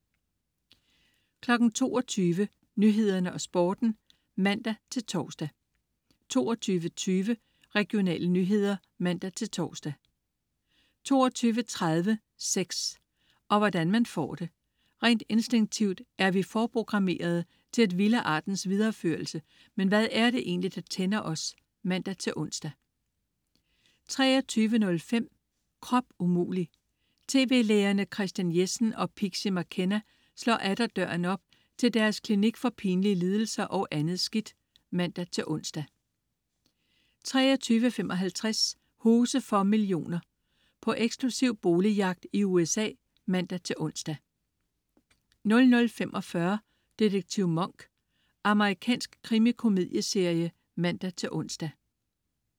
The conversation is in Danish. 22.00 Nyhederne og Sporten (man-tors) 22.20 Regionale nyheder (man-tors) 22.30 Sex. Og hvordan man får det. Rent instinktivt er vi forprogrammerede til at ville artens videreførelse, men hvad er det egentlig, der tænder os? (man-ons) 23.05 Krop umulig! Tv-lægerne Christian Jessen og Pixie McKenna slår atter døren op til deres klinik for pinlige lidelser og andet skidt (man-ons) 23.55 Huse for millioner. På eksklusiv boligjagt i USA (man-ons) 00.45 Detektiv Monk. Amerikansk krimikomedieserie (man-ons)